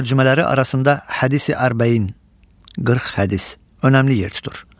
Tərcümələri arasında Hədisi Ərbəin (40 hədis) önəmli yer tutur.